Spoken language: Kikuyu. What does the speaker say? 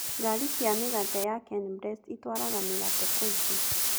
Ngari cia mĩgate ya Kenblest itwaraga mĩgate kũingĩ.